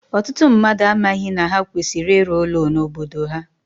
Ọtụtụ mmadụ amaghị na ha kwesịrị ịrụ ụlọ n'obodo ha